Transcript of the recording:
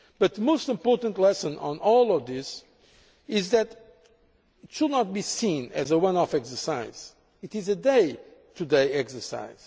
The most important lesson in all of this is that it should not be seen as a one off exercise it is a day to day exercise.